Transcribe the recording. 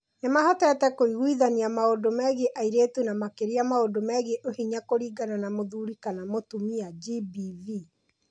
Nĩ mahotete kũiguithania maũndũ megiĩ airĩtu na makĩria maũndũ megiĩ Ũhinya kũringana na mũthuri kana mũtumia (GBV).